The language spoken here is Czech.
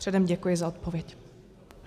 Předem děkuji za odpověď.